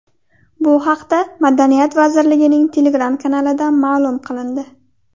Bu haqda Madaniyat vazirligining Telegram kanalida ma’lum qilindi .